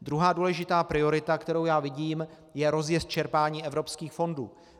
Druhá důležitá priorita, kterou já vidím, je rozjezd čerpání evropských fondů.